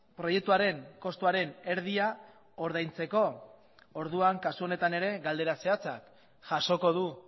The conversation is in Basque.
proiektuaren kostuaren erdia ordaintzeko orduan kasu honetan ere galdera zehatza jasoko du